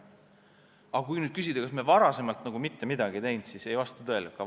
Aga kui nüüd küsida, kas me varem nagu mitte midagi ei teinud, siis nii see ei ole.